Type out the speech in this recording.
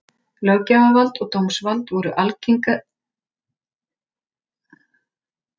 Löggjafarvald og dómsvald voru algerlega sundur skilin og falin sjálfstæðum stofnunum.